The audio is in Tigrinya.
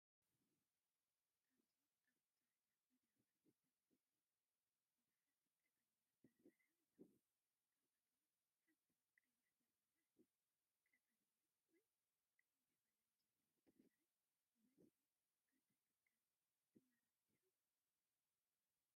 ኣብዚ ኣብ ጻዕዳ መዳበርያ ዝተመልአ ብዙሓት ቀጠልያ በርበረ (በርበረ) ኣለዉ። ካብኣቶም ሓንቲ ቀያሕ በርበረ ኣላ። ቀጠልያ ወይ ቀይሕ ቀለም ዘለዎ በርበረ ብብዝሒ ክትጥቀም ትመርጽ ዲኻ?